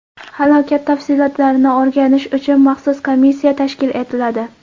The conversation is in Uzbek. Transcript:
Halokat tafsilotlarini o‘rganish uchun maxsus komissiya tashkil etiladi.